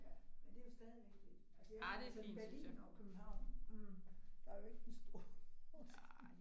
Ja men det er jo stadigvæk fedt. Altså jeg har det sådan Berlin og Købehavn mh der er jo ikke den store forskel